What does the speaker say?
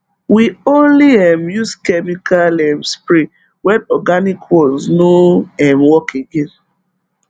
we only um use chemical um spray when organic ones no um work again